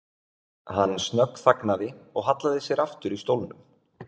Hann snöggþagnaði og hallaði sér aftur í stólnum.